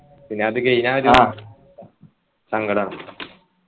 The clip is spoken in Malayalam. പിന്നെ അത് കയ്‌ഞ്ഞാൽ സങ്കടാവും